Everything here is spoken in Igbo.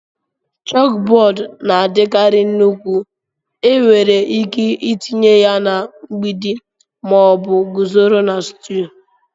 Chókbódú na-adikarị nnukwu, enwere ike itinye ya na mgbidi ma ọ bụ guzoro na stúl